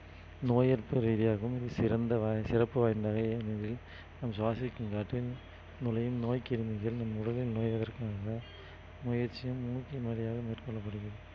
நோய் எதிர்ப்பு ரீதியாகவும் இது சிறந்த வ~ சிறப்பு வாய்ந்த நம் சுவாசிக்கும் காற்றில் நுழையும் நோய் கிருமிகள் நம் உடலில் முயற்சியும் மூக்கின் வழியாக மேற்கொள்ளப்படுகிறது